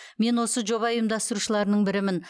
мен осы жоба ұйымдастырушыларының бірімін